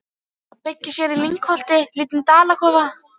Að byggja sér í lyngholti lítinn dalakofa.